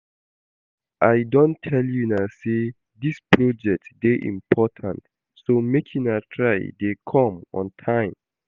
I don tell una say dis project dey important so make una try to dey come on time